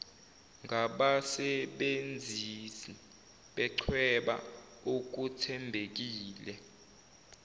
ngabasebenzisi bechweba okuthembekile